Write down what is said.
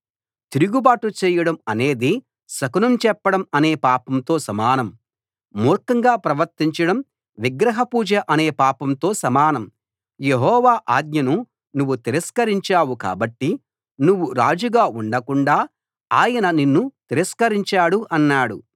తిరుగుబాటు చేయడం అనేది శకునం చెప్పడం అనే పాపంతో సమానం మూర్ఖంగా ప్రవర్తించడం విగ్రహ పూజ అనే పాపంతో సమానం యెహోవా ఆజ్ఞను నువ్వు తిరస్కరించావు కాబట్టి నువ్వు రాజుగా ఉండకుండా ఆయన నిన్ను తిరస్కరించాడు అన్నాడు